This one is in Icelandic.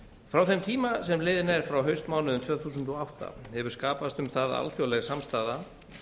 frá þeim tíma sem liðinn er frá haustmánuðum tvö þúsund og átta hefur skapast um það alþjóðleg samstaða